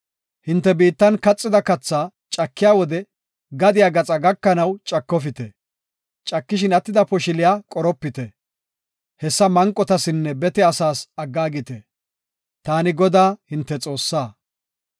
Hinte biittan kaxida kathaa cakiya wode gadiya gaxaa gakanaw cakofite; cakishin attida poshiliya qoropite; hessa manqotasinne bete asaas aggaagite. Taani Godaa hinte Xoossaa.